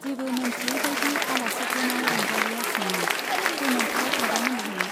जेबो मोनथियै बाइदि आलासिफोरनाव रंजालीया सोङो, सोरमोनथाय आदामोनहा ?